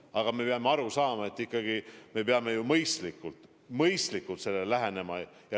Aga me peame aru saama, et ikkagi me peame asjale mõistlikult lähenema.